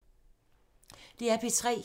DR P3